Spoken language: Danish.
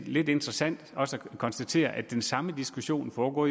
lidt interessant at konstatere at den samme diskussion jo foregår